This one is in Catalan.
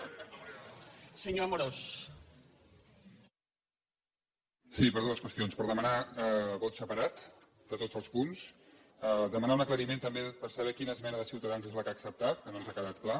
sí per dues qüestions per demanar vot separat de tots els punts demanar un aclariment també per saber quina esmena de ciutadans és la que ha acceptat que no ens ha quedat clar